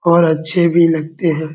और अच्छे भी लगते हैं।